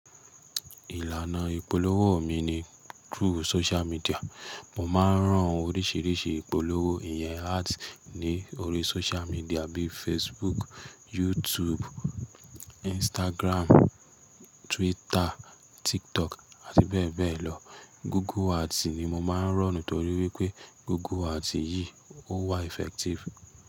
Ìlànà ìpolówó mi ni through social media. Mo máa ń rán oríṣiríṣi ìpolówó ìyẹn ads ní orí social media bíi Facebook, YouTube, Instagram, Twitter, TikTok àti bẹ́ẹ̀ bẹ́ẹ̀ lọ. Google ads ni mo máa ń run nítorí wípé Google ads yìí ó wà effective.